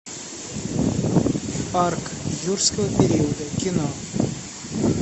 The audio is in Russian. парк юрского периода кино